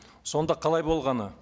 сонда қалай болғаны